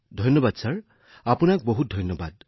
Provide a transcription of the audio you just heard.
ধন্যবাদ মহোদয় আপোনাক অশেষ ধন্যবাদ